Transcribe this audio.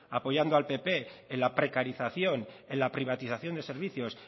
apoyando al pp en la precarización en la privatización de servicios